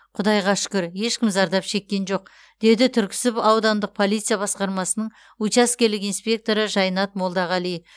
құдайға шүкір ешкім зардап шеккен жоқ деді түрксіб аудандық полиция басқармасының учаскелік инспекторы жайнат молдағали